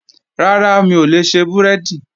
Rárá, mi ò lè ṣe búrẹ́dì